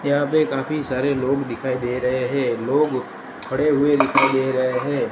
यहां पे काफी सारे लोग दिखाई दे रहे हैं लोग खड़े हुए दिखाई दे रहे हैं।